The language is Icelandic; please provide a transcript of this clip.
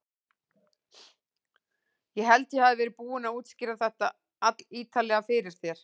Ég held ég hafi verið búinn að útskýra þetta allítarlega fyrir þér.